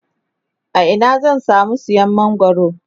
a Ina zan samu siyan mangwaro?